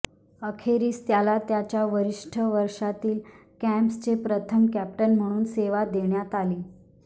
अखेरीस त्याला त्यांच्या वरिष्ठ वर्षातील कॅप्सचे प्रथम कॅप्टन म्हणून सेवा देण्यात आली